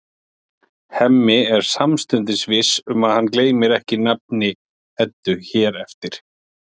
Hemmi er samstundis viss um að hann gleymir ekki nafni Eddu hér eftir.